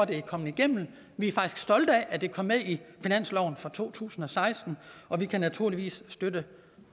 det er kommet igennem vi er faktisk stolte af at det kom med i finansloven for to tusind og seksten og vi kan naturligvis støtte